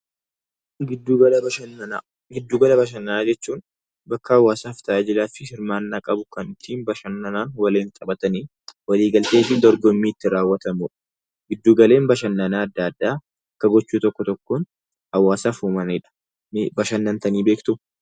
Giddu gala bashannanaa Giddu gala bashannanaa jechuun bakka hawaasaa fi hirmaannaa qabu kan ittiin bashannanaaf ittiin taphatan walii galtee fi dorgommiitti raawwatamudha. Giddu galli bashannanaa addaa addaa gocha tokko tokkoo hawaasaaf uumaniidha. Bashannantanii beektu?